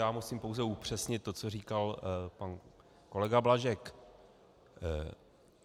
Já musím pouze upřesnit to, co říkal pan kolega Blažek.